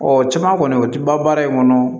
Ɔ caman kɔni o tɛ ban baara in kɔnɔ